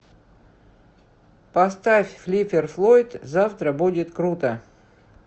поставь флиппер флойд завтра будет круто